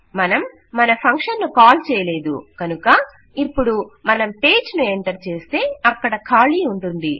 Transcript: మనం మన ఫంక్షన్ ను కాల్ చేయలేదు కనుక ఇపుడు మనం పేజ్ ను ఎంటర్ చేస్తే అక్కడ ఖాళీ ఉంటుంది